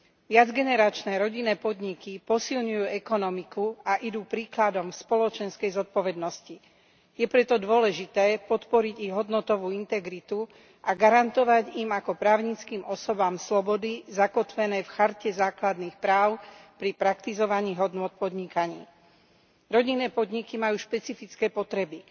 Viacgeneračné rodinné podniky posilňujú ekonomiku a idú príkladom v spoločenskej zodpovednosti. Je preto dôležité podporiť ich hodnotovú integritu a garantovať im ako právnickým osobám slobody zakotvené v Charte základných práv pri praktizovaní hodnôt v podnikaní. Rodinné podniky majú špecifické potreby.